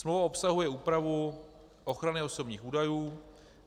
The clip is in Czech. Smlouva obsahuje úpravu ochrany osobních údajů.